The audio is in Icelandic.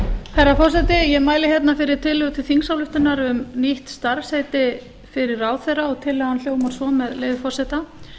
herra forseti ég mæli hérna fyrir tillögu til þingsályktunar um nýtt starfsheiti fyrir ráðherra og tillagan hljómar svo með leyfi forseta